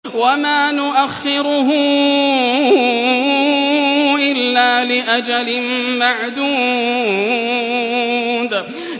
وَمَا نُؤَخِّرُهُ إِلَّا لِأَجَلٍ مَّعْدُودٍ